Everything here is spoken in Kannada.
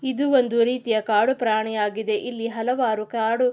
ಇದು ಒಂದು ರೀತಿಯ ಕಾಡುಪ್ರಾಣಿ ಆಗಿದೆ ಇಲ್ಲಿ ಹಲವಾರು ಕಾಡು --